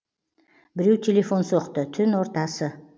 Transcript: біреу телефон соқты түн ортасы